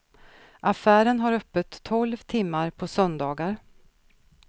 Affären har öppet tolv timmar på söndagar.